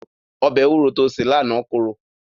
Ọbẹ̀ ewúro to sè lánàá korò.